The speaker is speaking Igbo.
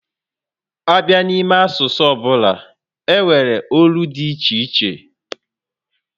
A bịa n'ime asụsụ ọbụla, e nwere olu dị iche iche